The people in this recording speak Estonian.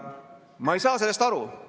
Ma ei saa sellest aru.